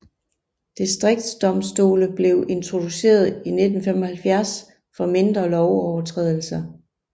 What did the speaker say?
Distriktsdomstole blev introduceret i 1975 for mindre lovovertrædelser